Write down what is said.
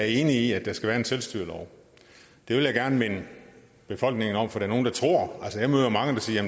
enig i at der skal være en selvstyrelov og det vil jeg gerne minde befolkningen om for jeg møder mange der siger